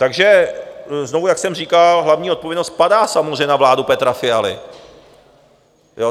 Takže znovu, jak jsem říkal, hlavní odpovědnost padá samozřejmě na vládu Petra Fialy.